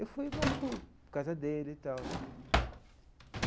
Eu fui mais por causa dele e tal, né.